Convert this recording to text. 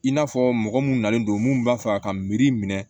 I n'a fɔ mɔgɔ mun nalen don mun b'a fɛ a ka miiri minɛ